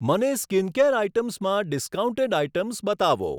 મને skincare items માં discounted items બતાવો.